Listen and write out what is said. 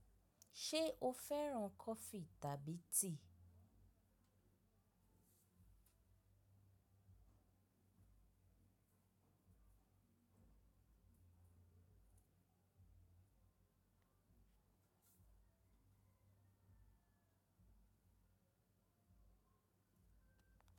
Ṣé o fẹ́ràn kọfí tàbí tea?